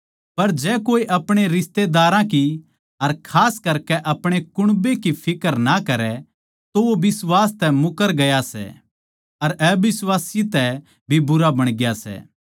पर जै कोए अपणे रिश्तेदारां की अर खास करकै अपणे कुण्बे की फिक्र ना करै तो वो बिश्वास तै मुकर गया सै अर अबिश्वासी तै भी भूंडा बण गया सै